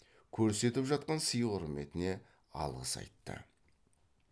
көрсетіп жатқан сый құрметіне алғыс айтты